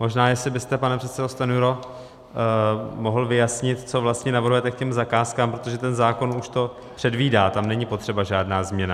Možná jestli byste, pane předsedo Stanjuro, mohl vyjasnit, co vlastně navrhujete k těm zakázkám, protože ten zákon už to předvídá, tam není potřeba žádná změna.